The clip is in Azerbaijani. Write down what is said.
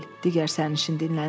Digər sərnişin dilləndi.